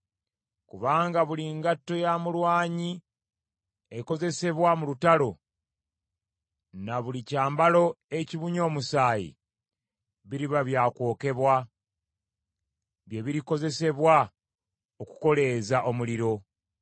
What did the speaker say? Kubanga buli ngatto ya mulwanyi ekozesebwa mu lutalo na buli kyambalo ekibunye omusaayi, biriba bya kwokebwa, bye birikozesebwa okukoleeza omuliro.